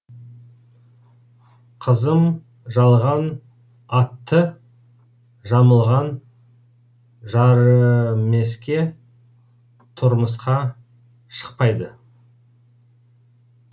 қызым жалған атты жамылған жарымеске тұрмысқа шықпайды